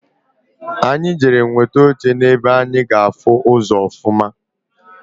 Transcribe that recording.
Anyị jere nweta oche na-ebe anyi ga-afụ ụzọ ọfụma.